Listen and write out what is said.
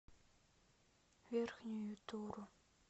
верхнюю туру